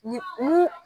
Ni mun